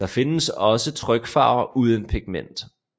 Der findes også trykfaver uden pigment